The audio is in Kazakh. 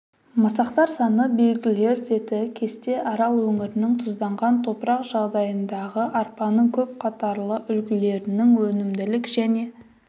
масақтар саны белгілер реті кесте арал өңірінің тұзданған топырақ жағдайындағы арпаның көп қатарлы үлгілерінің өнімділік және